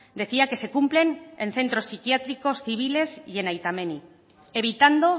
decía que se cumplen en centros psiquiátricos civiles y en aita menni evitando